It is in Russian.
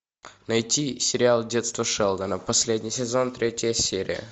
найти сериал детство шелдона последний сезон третья серия